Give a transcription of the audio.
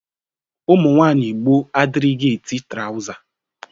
Ụmụnwaayị gboo adịrịghi eti trawza.